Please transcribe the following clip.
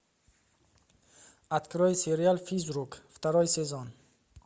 открой сериал физрук второй сезон